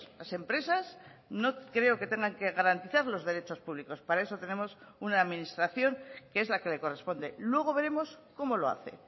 las empresas no creo que tengan que garantizar los derechos públicos para eso tenemos una administración que es la que le corresponde luego veremos cómo lo hace